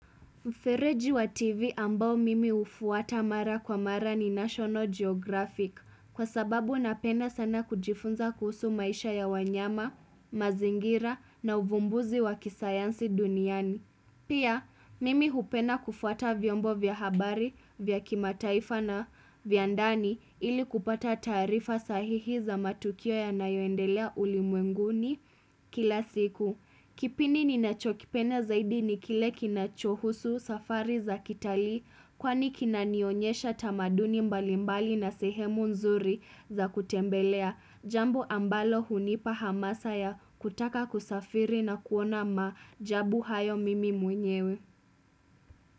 Mfereji wa TV ambao mimi ufuata mara kwa mara ni National Geographic kwa sababu napenda sana kujifunza kuhusu maisha ya wanyama, mazingira na uvumbuzi wa kisayansi duniani. Pia, mimi hupenda kufuata vyombo vya habari vya kimataifa na vya ndani ili kupata taarifa sahihi za matukio yanayoendelea ulimwenguni kila siku. Kipindi ninachokipenda zaidi ni kile kinachohusu safari za kitalii kwani kinanionyesha tamaduni mbalimbali na sehemu nzuri za kutembelea jambo ambalo hunipa hamasa ya kutaka kusafiri na kuona maajabu hayo mimi mwenyewe.